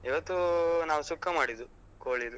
ಇವತ್ತು ನಾವ್ ಸುಕ್ಕ ಮಾಡಿದ್ದು ಕೋಳಿದು.